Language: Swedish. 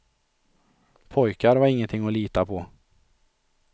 Pojkar var ingenting att lita på.